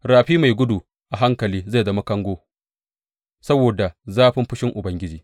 Rafi mai gudu a hankali zai zama kango saboda zafin fushin Ubangiji.